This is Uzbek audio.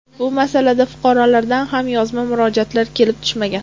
Bu masalada fuqarolardan ham yozma murojaatlar kelib tushmagan.